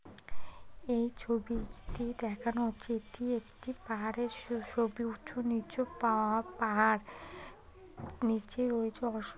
এই ছবিটি দেখানো হচ্ছে এটি একটি পাহাড়ের স-সবই উঁচু নিচু পাওয়া পাহাড় নিচে ওই যে অস --